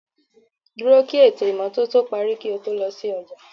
Dúró kí ètò ìmọ́tótó parí kí o tó lọ sí ọjà